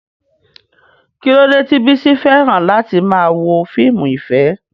Kí ló dé tí Bisi fẹ́ràn láti máa wo fíìmù ìfẹ́?